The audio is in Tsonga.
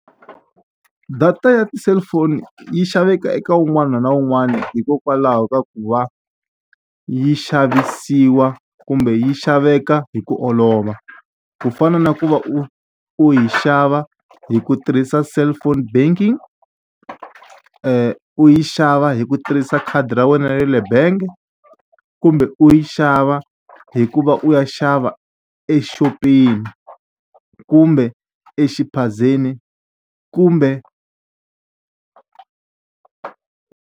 Data ya ti-cellphone yi xavekaka eka un'wana na un'wana hikokwalaho ka ku va yi xavisiwa kumbe yi xaveka hi ku olova. Ku fana na ku va u u yi xava hi ku tirhisa cellphone banking, u yi xava hi ku tirhisa khadi ra wena ra le bangi, kumbe u yi xava hi ku va u ya xava exopeni kumbe exiphazeni kumbe.